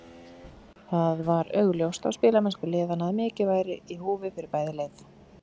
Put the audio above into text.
Það var augljóst á spilamennsku liðanna að mikið væru í húfi fyrir bæði lið.